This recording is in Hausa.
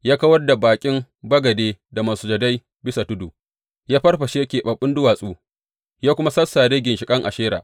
Ya kawar da baƙin bagade da masujadai bisa tudu, ya farfashe keɓaɓɓun duwatsu, ya kuma sassare ginshiƙan Ashera.